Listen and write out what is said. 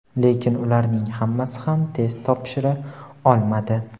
lekin ularning hammasi ham test topshira olmadi.